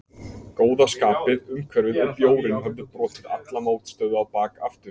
Góða skapið, umhverfið og bjórinn höfðu brotið alla mótstöðu á bak aftur.